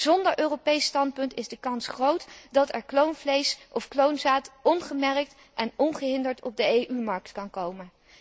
Zonder Europees standpunt is de kans groot dat er kloonvlees of kloonzaad ongemerkt en ongehinderd op de EU markt kan komen.